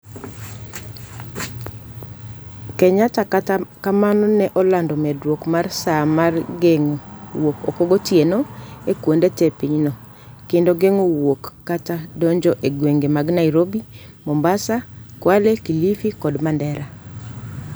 Kenyatta kata kamano ne olando medruok mar saa mar geng'o wuok oko gotieno e kuonde te pinyno, kendo geng'o wuok kata donjo e gwenge mag Nairobi, Mombasa, Kwale, Kilifi kod Mandera